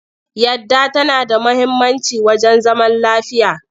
Yadda tana da muhimmanci wajen zaman lafiya.